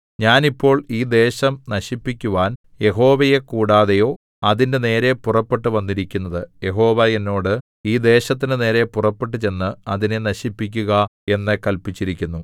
ഞാൻ ഇപ്പോൾ ഈ ദേശം നശിപ്പിക്കുവാൻ യഹോവയെ കൂടാതെയോ അതിന്റെ നേരെ പുറപ്പെട്ടു വന്നിരിക്കുന്നത് യഹോവ എന്നോട് ഈ ദേശത്തിന്റെ നേരെ പുറപ്പെട്ടു ചെന്ന് അതിനെ നശിപ്പിക്കുക എന്നു കല്പിച്ചിരിക്കുന്നു